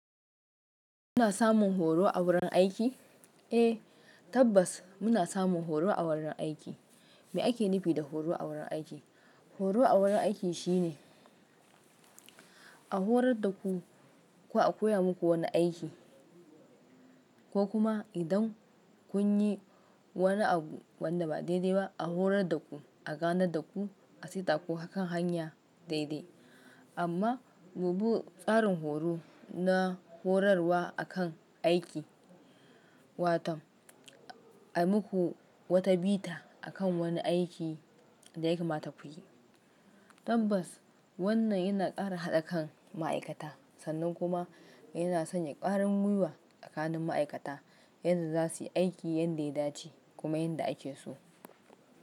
Muna samun horo a wurin aiki? Eh tabbas muna samun horo a wurin aiki. Me ake nufi da horo a wurin aiki? Horo a wurin aiki shine a horar da ku ko a koya muku wani aiki ko kuma idan kun yi wani abu wanda ba daidaiba a horar da ku a gane da ku a saita ku akan hanya daidai. Amma bubu tsarin horo na horarwa akan aiki, waton a muku wata bita akan wani aiki da ya kamata ku yi. Tabbas wannan yana ƙara haɗa kan ma'aikata sannan kuma yana sanya ƙwarin gwiwa tsakanin ma'aikata yadda za su yi aiki yanda ya dace kuma yadda ake so.